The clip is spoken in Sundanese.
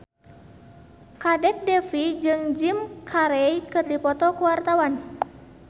Kadek Devi jeung Jim Carey keur dipoto ku wartawan